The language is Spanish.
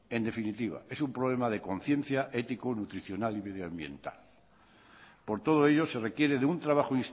en definitiva es un problema de conciencia ético nutricional y medioambiental por todo ello se requiere de un trabajo